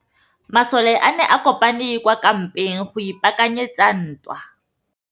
Masole a ne a kopane kwa kampeng go ipaakanyetsa ntwa.